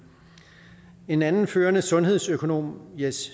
en anden førende sundhedsøkonom jes